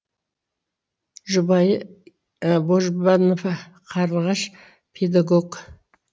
жұбайы божбанова қарлығаш педагог